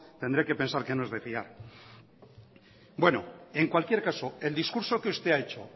tendré que pensar que no es de fiar bueno en cualquier caso el discurso que usted ha hecho